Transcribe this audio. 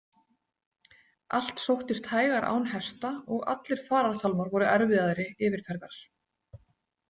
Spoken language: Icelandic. Allt sóttist hægar án hesta, og allir farartálmar voru erfiðari yfirferðar.